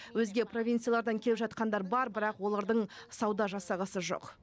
өзге провинциялардан келіп жатқандар бар бірақ олардың сауда жасағысы жоқ